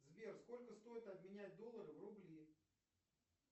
сбер сколько стоит обменять доллар в рубли